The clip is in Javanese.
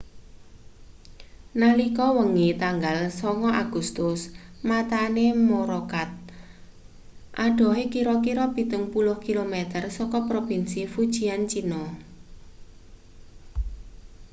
nalika wengi tanggal 9 agustus matane morakot adohe kira-kira pitung puluh kilometer saka propinsi fujian china